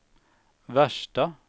värsta